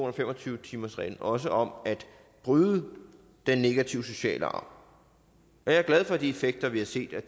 og fem og tyve timersreglen også om at bryde den negative sociale arv jeg er glad for de effekter vi har set af